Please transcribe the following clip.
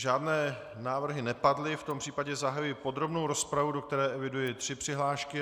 Žádné návrhy nepadly, v tom případě zahajuji podrobnou rozpravu, do které eviduji tři přihlášky.